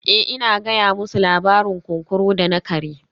Eh ina gaya musu labarin kunkuru da na kare